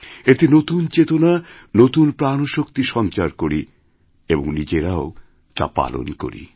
এতে নতুনচেতনা নতুন প্রাণশক্তি সঞ্চার করি এবং নিজেরাও তা পালন করি